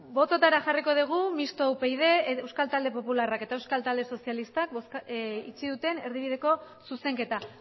bototara jarriko dugu mistoa upyd euskal talde popularrak eta euskal talde sozialistak itxi duten erdibideko zuzenketa